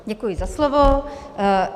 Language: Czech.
Děkuji za slovo.